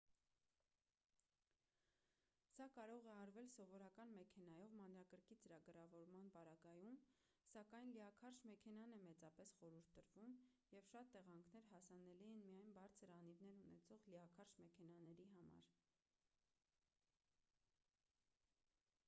սա կարող է արվել սովորական մեքենայով մանրակրկիտ ծրագրավորման պարագայում սակայն լիաքարշ մեքենան է մեծապես խորհուրդ տրվում և շատ տեղանքներ հասանելի են միայն բարձր անիվներ ունեցող լիաքարշ մեքենաների համար